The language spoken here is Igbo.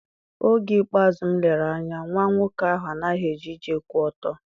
Oge ikpeazụ m lere anya, nwa nwoke ahụ anaghị eje ije kwụ ọtọ.